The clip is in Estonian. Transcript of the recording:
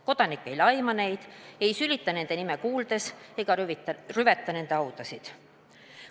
Kodanik ei laima neid, ei sülita nende nime kuuldes ega rüveta nende haudasid.